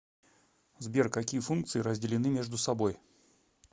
сбер какие функции разделены между собой